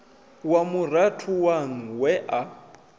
wa murathu waṋu we a